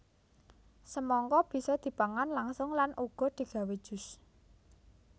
Semangka bisa dipangan langsung lan uga digawé jus